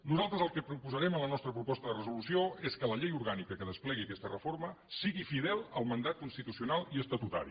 nosaltres el que proposarem a la nostra proposta de resolució és que la llei orgànica que desplegui aquesta reforma sigui fidel al mandat constitucional i estatutari